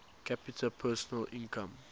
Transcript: capita personal income